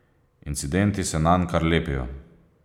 Incidenti se nanj kar lepijo.